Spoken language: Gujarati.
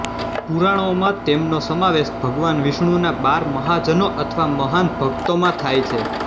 પુરાણોમાં તેમનો સમાવેશ ભગવાન વિષ્ણુના બાર મહાજનો અથવા મહાન ભક્તોમાં થાય છે